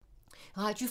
Radio 4